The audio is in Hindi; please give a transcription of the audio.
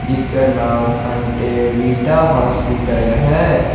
जिसका नाम संटेवीटा हॉस्पिटल है।